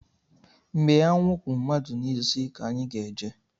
Mgbe anwụ kwụ madu n'isi ka anyị ga-eje